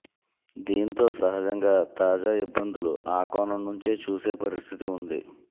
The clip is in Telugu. దీంతో సహజంగా తాజా ఇబ్బందులు ఆ కోణం నుంచే చూసే పరిస్థితి వుంది